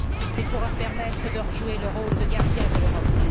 C'est pour leur permettre de jouer leur rôle de gardien de l'Europe.